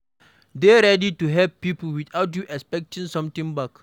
Dey ready to help pipo without you expecting something back